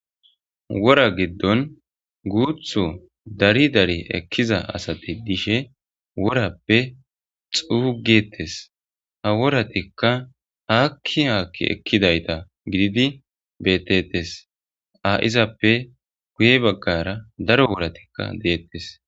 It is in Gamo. Wora giddon guutho dari dari ekkiza asati dishe worappe xuugettes ha woratikka haakki haakki ekkidayta gididi bettetes a7izappe guye baggara daro woratikka deettes.